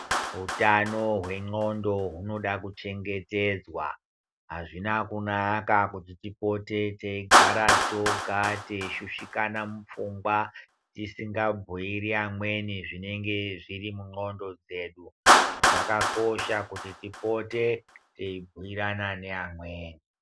Hutano hwendxondo hunoda kuchengetedzwa hazvina kunaka kuti tipote teigara toga teishushikana mupfungwa. Tisingabhuiri amweni zvinenge zviri mundxondo dzedu zvakakosha kuti tipote teibhirana neamweni.